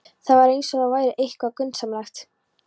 Það var eins og það væri eitthvað grunsamlegt.